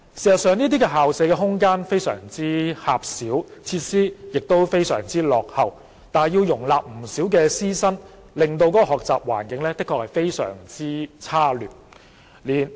事實上，這些校舍的空間非常狹小，設施十分落後，但要容納不少師生，學習環境因而十分差劣。